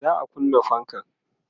za'a kunna fankan